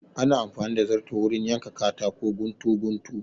Ana amfani da zarto wurin yanka katako guntu guntu